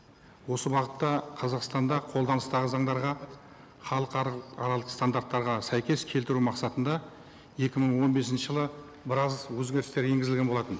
осы бағытта қазақстанда қолданыстағы заңдарға халықаралық стандарттарға сәйкес келтіру мақсатында екі мың он бесінші жылы біраз өзгерістер енгізілген болатын